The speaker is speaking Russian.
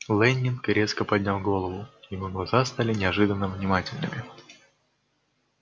лэннинг резко поднял голову его глаза стали неожиданно внимательными